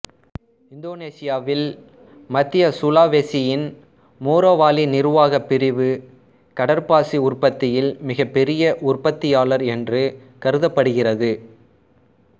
இந்தோனேசியாவில் மத்திய சுலாவெசியின் மோரோவாலி நிர்வாகப் பிரிவு கடற்பாசி உற்பத்தியில் மிகப்பெரிய உற்பத்தியாளர் என்று கருதப்படுகிறது